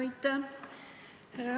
Aitäh!